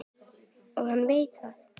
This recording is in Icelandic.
Og hann veit það.